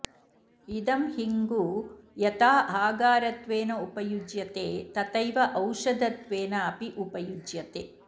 इदं हिङ्गु यथा आहारत्वेन उपयुज्यते तथैव औषधत्वेन अपि उपयुज्यते